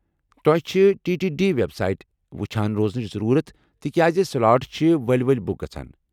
تو٘ہہِ چھِ T T D website وُچھان روزنٕچ ضرورت ، تِکیٛازِ سلاٹ چھ ؤلۍ ؤلۍ بُک گژھان۔